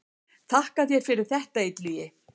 Þakka þér fyrir þetta Illugi.